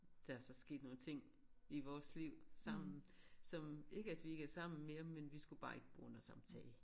Der er så sket nogle ting i vores liv sammen som ikke at vi ikke er sammen mere men vi skulle bare ikke bo under samme tag